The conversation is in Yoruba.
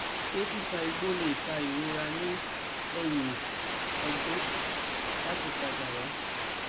se fifa igbo le fa irora ni eyin ogbon lati pada wa